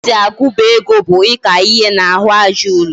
Etu esi agubu ego bu Ika ihe na ahu aja ulo